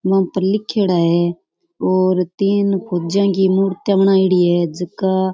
बा पर लिखेड़ा है और तीन फोज्या की मूर्ति बनाईडी है झका --